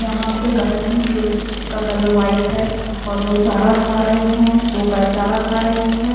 यहा पे गाय है जो का कलर वाइट है और वो चारा खा रहे है दो गाय चारा खा रहे है।